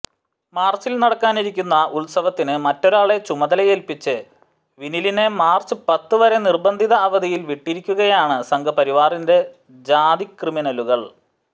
മാർച്ചിൽ നടക്കാനിരിക്കുന്ന ഉത്സവത്തിന് മറ്റൊരാളെ ചുമതലയേൽപ്പിച്ച് വിനിലിനെ മാർച്ച് പത്ത് വരെ നിർബന്ധിത അവധിയിൽ വിട്ടിരിക്കുകയാണ് സംഘ്പരിവാറിന്റെ ജാതിക്രിമിനലുകൾ